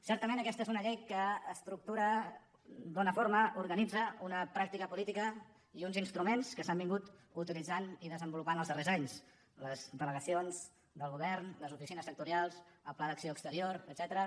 certament aquesta és una llei que estructura dóna forma organitza una pràctica política i uns instruments que s’han utilitzat i desenvolupat els darrers anys les delegacions del govern les oficines sectorials el pla d’acció exterior etcètera